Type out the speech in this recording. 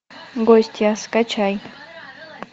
гостья скачай